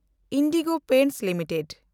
IndiGo Paints limited